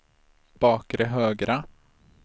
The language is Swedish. bakre högra